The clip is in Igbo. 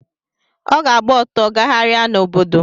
Ọ ga-agba ọtọ gagharia n’obodo